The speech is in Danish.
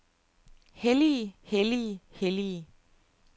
hellige hellige hellige